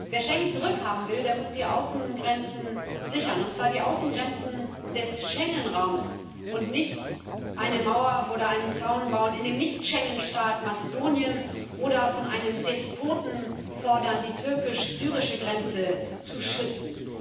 Wer Schengen zurückhaben will, der muss die Außengrenzen sichern, und zwar die Außengrenzen des Schengen Raumes, und nicht eine Mauer oder einem Zaun bauen in dem Nicht Schengen Staat Mazedonien, oder von einem Despoten fordern, die türkisch syrische Grenze zu schützen.